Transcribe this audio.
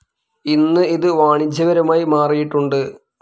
ഇന്ന്, ഇതു വാണിജ്യപരമായി മാറിയിട്ടുണ്ട്.